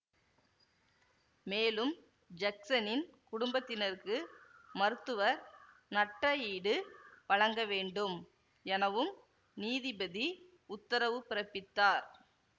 மேலும் ஜக்சனின் குடும்பத்தினருக்கு மருத்துவர் நட்ட ஈடு வழங்கவேண்டும் எனவும் நீதிபதி உத்தரவு பிறப்பித்தார்